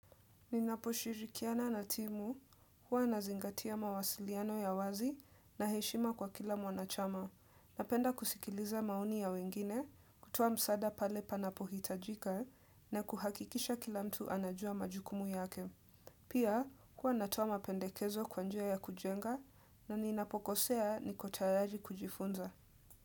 Ninapo shirikiana na timu huwa nazingatia mawasiliano ya wazi na heshima kwa kila mwanachama Napenda kusikiliza maoni ya wengine kutoa msaada pale panapo hitajika na kuhakikisha kila mtu anajua majukumu yake Pia huwa natoa mapendekezo kwa njia ya kujenga na ninapo kosea niko tayari kujifunza.